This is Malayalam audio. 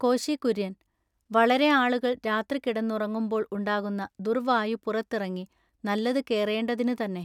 കോശികുര്യന്‍:-വളരെ ആളുകൾ രാത്രി കിടന്നുറങ്ങുമ്പോൾ ഉണ്ടാകുന്ന ദുര്‍വായു പുറത്തിറങ്ങി നല്ലതു കേറേണ്ടതിനു തന്നെ.